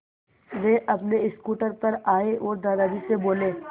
वे अपने स्कूटर पर आए और दादाजी से बोले